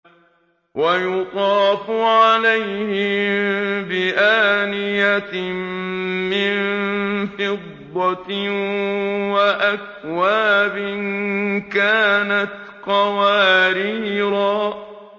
وَيُطَافُ عَلَيْهِم بِآنِيَةٍ مِّن فِضَّةٍ وَأَكْوَابٍ كَانَتْ قَوَارِيرَا